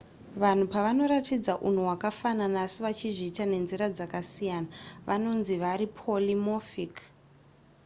vanhu pavanoratidza unhu hwakafanana asi vachizviita nenzira dzakasiyana vanonzi vari polymorphic